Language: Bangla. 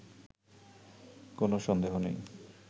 কোনো সন্দেহ নেই